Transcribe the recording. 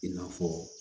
I n'a fɔ